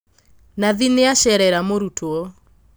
Nathi nĩacerera mũrutwo